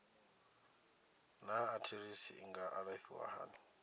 naa arthritis i nga alafhiwa hani